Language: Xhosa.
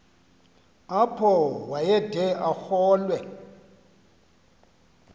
apho wayede arolwe